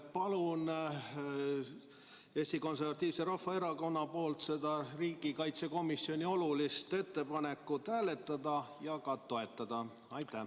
Palun Eesti Konservatiivse Rahvaerakonna nimel seda olulist riigikaitsekomisjoni ettepanekut hääletada ja ka toetada!